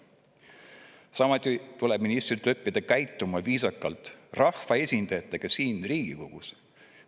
Samuti tuleb ministritel õppida viisakalt käituma rahvaesindajatega siin Riigikogus.